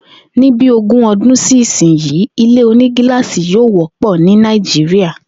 Ní bi ogún o̩dún sí ìsinyí, ilé onígiláàsì yóò wó̩pò̩ ní Nàìjíríà